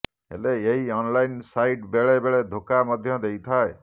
ହେଲେ ଏହି online site ବେଳେ ବେଳେ ଧୋକା ମଧ୍ୟ ଦେଇଥାଏ